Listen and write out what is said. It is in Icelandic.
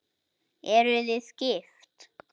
Eruð þið gift?